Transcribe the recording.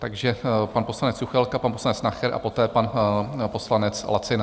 Takže pan poslanec Juchelka, pan poslanec Nacher a poté pan poslanec Lacina.